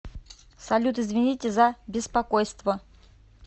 салют извините за беспокойство